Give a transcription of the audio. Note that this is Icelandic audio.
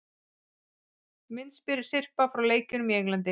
Myndasyrpa frá leikjunum í Englandi